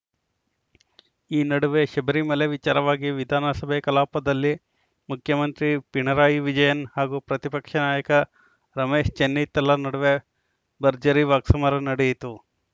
ಈ ನಡುವೆ ಶಬರಿಮಲೆ ವಿಚಾರವಾಗಿ ವಿಧಾನಸಭೆ ಕಲಾಪದಲ್ಲಿ ಮುಖ್ಯಮಂತ್ರಿ ಪಿಣರಾಯಿ ವಿಜಯನ್‌ ಹಾಗೂ ಪ್ರತಿಪಕ್ಷ ನಾಯಕ ರಮೇಶ್‌ ಚೆನ್ನಿತ್ತಲ ನಡುವೆ ಭರ್ಜರಿ ವಾಕ್ಸಮರ ನಡೆಯಿತು